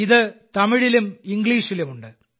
ഇത് തമിഴിലും ഇംഗ്ലീഷിലും ഉണ്ട്